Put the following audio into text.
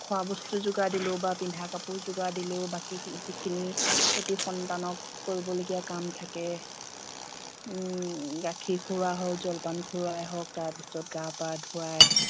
খোৱা বস্তু যোগাৰ দিলেও বা পিন্ধা কাপোৰ যোগাৰ দিলেও বাকীখি যিখিনি এটা সন্তানক কৰিব লগীয়া কাম থাকে উম গাখীৰ খুউৱা হওঁক জলপান খুওৱাই হওক তাৰ পাছত গা পা ধুৱাই